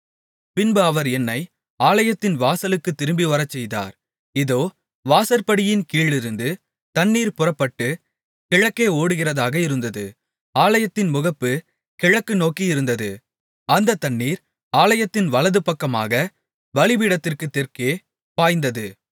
பின்பு அவர் என்னை ஆலயத்தின் வாசலுக்குத் திரும்பிவரச்செய்தார் இதோ வாசற்படியின் கீழிருந்து தண்ணீர் புறப்பட்டுக் கிழக்கே ஓடுகிறதாக இருந்தது ஆலயத்தின் முகப்பு கிழக்கு நோக்கி இருந்தது அந்தத் தண்ணீர் ஆலயத்தின் வலது பக்கமாகப் பலிபீடத்திற்குத் தெற்கே பாய்ந்தது